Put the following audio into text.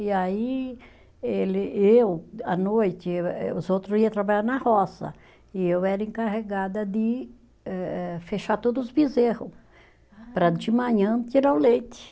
E aí ele, eu, à noite, eu eh os outros iam trabalhar na roça, e eu era encarregada de eh eh fechar todos os bezerros, para de manhã tirar o leite.